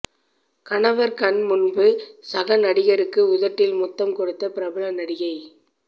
கணவர் கண்முன்பு சக நடிகருக்கு உதட்டில் முத்தம் கொடுத்த பிரபல நடிகை